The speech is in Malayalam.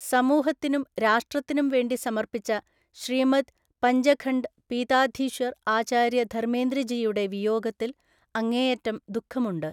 സമൂഹത്തിനും രാഷ്ട്രത്തിനും വേണ്ടി സമർപ്പിച്ച ശ്രീമദ് പഞ്ചഖണ്ഡ് പീതാധീശ്വർ ആചാര്യ ധർമ്മേന്ദ്ര ജിയുടെ വിയോഗത്തിൽ അങ്ങേയറ്റം ദുഃഖമുണ്ട്.